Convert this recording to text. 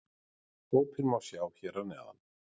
Hópinn má sjá hér að neðan